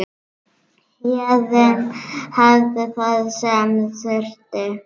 Héðinn hafði það sem þurfti.